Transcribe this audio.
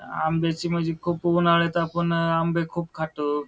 आंबे ची म्हणजे खुप उन्हाळ्यात आपण अ आंबे खुप खातो.